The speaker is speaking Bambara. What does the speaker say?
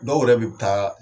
Dɔw yɛrɛ bib taaa.